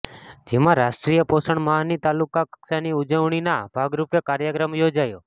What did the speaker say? જેમાં રાષ્ટ્રીય પોષણ માહની તાલુકા કક્ષાની ઉજવણીના ભાગરૂપે કાર્યક્રમ યોજાયો